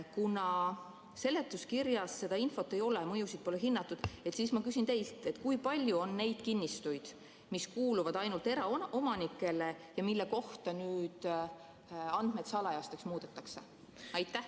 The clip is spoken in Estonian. Kuna seletuskirjas seda infot ei ole, mõjusid pole hinnatud, siis ma küsin teilt: kui palju on neid kinnistuid, mis kuuluvad ainult eraomanikele ja mille kohta andmed salajasteks muudetakse?